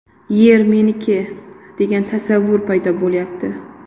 Yer meniki, degan tasavvur paydo bo‘lyapti.